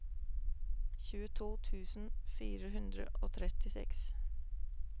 tjueto tusen fire hundre og trettiseks